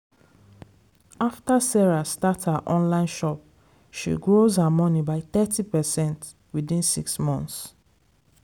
after sarah start her online shop she grows her money by thirty percent within six months.